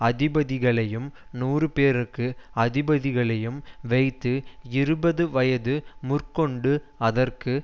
அதிபதிகளையும் நூறுபேருக்கு அதிபதிகளையும் வைத்து இருபது வயதுமுதற்கொண்டு அதற்கு